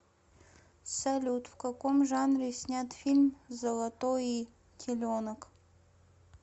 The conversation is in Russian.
салют в каком жанре снят фильм золотои теленок